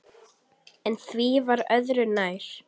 En því var öðru nær.